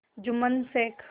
Jumman Sheikh